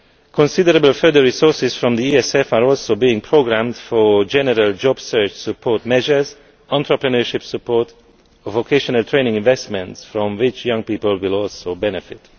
Considerable further resources from the ESF are also being programmed for general job search support measures, entrepreneurship support or vocational training investments from which young people will also benefit.